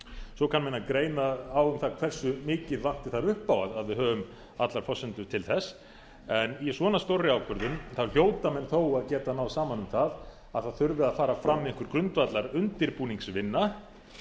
svo kann menn að greina á um það hversu mikið vanti þar upp á að við höfum allar forsendur til þess en í svona stórri ákvörðun hljóta menn þó að geta náð saman um það það þurfi að fara fram einhver grundvallar undirbúningsvinna